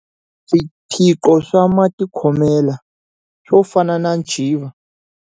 Swiphiqo swa matikhomelo, swo fana na ntshiva.